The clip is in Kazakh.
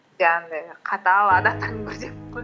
андай қатал адамдардың